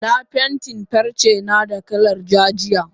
Na fentin farcena da kalar ja jiya.